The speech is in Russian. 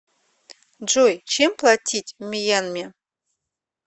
джой чем платить в мьянме